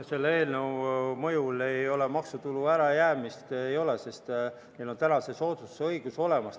Selle eelnõu mõjul maksutulu ärajäämist ei ole, sest neil on täna see soodustuse õigus olemas.